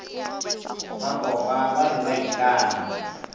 bakopa ba be ba ikana